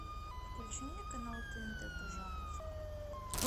включи мне канал тнт пожалуйста